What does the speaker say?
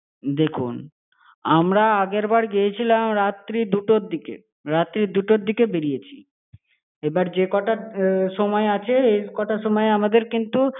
দেখুন, আমরা আগের বার গিয়েছিলাম রাত্রি দুটোর দিকে, রাত্রি দুটোর দিকে বেড়িয়েছি। এবার যে কটা ~এ সময় আছে, এ কটা সময় আমাদের কিন্তু।